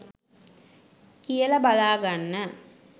කියල බලාගන්න